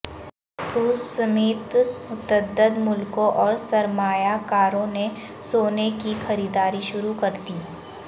روس سمیت متعدد ملکوں اور سرمایہ کاروں نے سونے کی خریداری شروع کردی